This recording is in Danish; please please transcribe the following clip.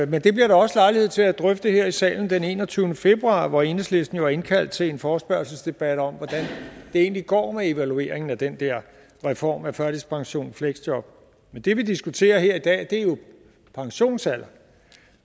men det bliver der også lejlighed til at drøfte her i salen den enogtyvende februar hvor enhedslisten har indkaldt til en forespørgselsdebat om hvordan det egentlig går med evalueringen af den der reform af førtidspensionen og fleksjob men det vi diskuterer her i dag er jo pensionsalderen